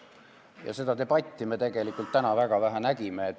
Ja seda debatti me nägime täna väga vähe.